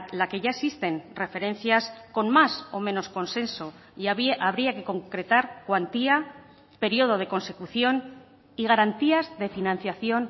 la que ya existen referencias con más o menos consenso y habría que concretar cuantía periodo de consecución y garantías de financiación